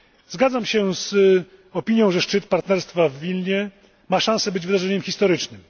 Zgadzam się z opinią, że szczyt Partnerstwa w Wilnie ma szansę być wydarzeniem historycznym.